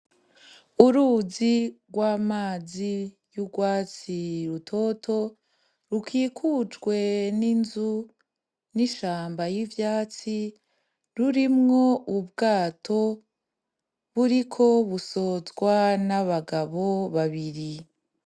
Uruzi rw'amazi y'urwatsi rutoto rukikujwe n'inzu, n'ishamba y'ivyatsi burimo ubwato buriko busozwa n'abagabo babiri.